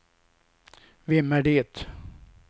vem är det